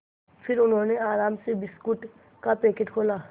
फिर उन्होंने आराम से बिस्कुट का पैकेट खोला